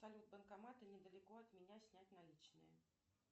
салют банкоматы недалеко от меня снять наличные